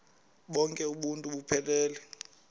bonk uuntu buphelele